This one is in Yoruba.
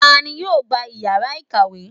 ta ni yóò gbá iyara ikawe?